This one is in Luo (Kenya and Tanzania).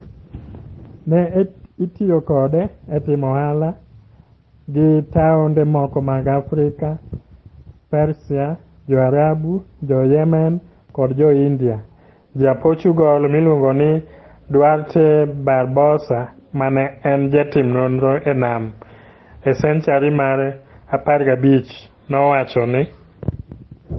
Ne itiyo kode e timo ohala gi taonde moko mag Afrika, Persia, Jo-Arabu, Jo-Yemen, koda Jo-India. Ja-Portugal miluongo ni Duarte Barbosa ma ne en jatim nonro e nam e senchari mar 15 nowacho ni,